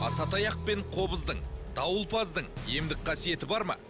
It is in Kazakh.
асатаяқ пен қобыздың дауылпаздың емдік қасиеті бар ма